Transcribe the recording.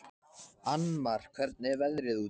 Annmar, hvernig er veðrið úti?